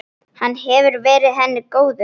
Hann hefur verið henni góður.